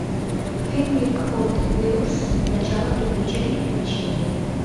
фильмик хот вилс начало приключений включи мне